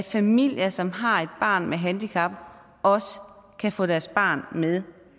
familier som har et barn med et handicap også kan få deres barn med